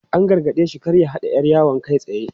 An gargade shi da kar ya haɗa 'yar yawon kai tsaye.